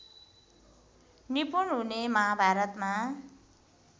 निपुण हुने महाभारतमा